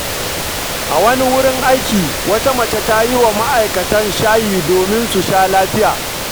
A wani wurin aiki, wata mace ta yi wa ma’aikatan shayi domin su sha lafiya.